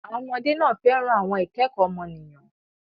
Àwọn ọmọdé náà fẹ́ràn àwọn ìkẹ́kọ̀ọ́ ọmọnìyàn.